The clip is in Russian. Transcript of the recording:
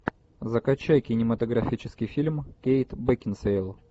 закачай кинематографический фильм кейт бекинсейл